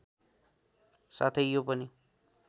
साथै यो पनि